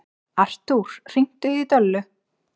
Artúr, hringdu í Döllu.